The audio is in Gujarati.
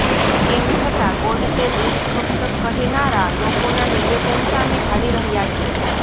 તેમ છતાં ગોડસે દેશભક્ત કહેનારા લોકોના નિવેદન સામે આવી રહ્યા છે